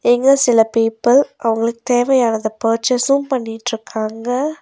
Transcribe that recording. இங்க சில பீப்பிள் அவங்களுக்கு தேவையானத பர்ச்சேஸும் பண்ணிட்ருக்காங்க.